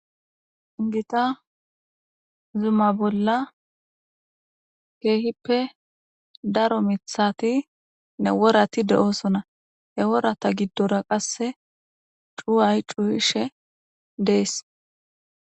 Gita zuma bolla keehippe daro mithati ne worati de7oosona he worata giddora qasse cuuway cuuhishe dees.